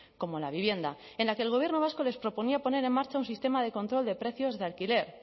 como la vivienda en la que el gobierno vasco les proponía a poner en marcha un sistema de control de precios de alquiler